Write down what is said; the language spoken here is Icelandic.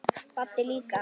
Baddi líka.